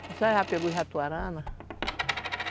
Você já pegou ratoarana?